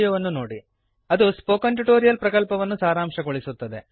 httpspoken tutorialorgWhat is a Spoken Tutorial ಅದು spoken tutorial ಪ್ರಕಲ್ಪವನ್ನು ಸಾರಾಂಶಗೊಳಿಸುತ್ತದೆ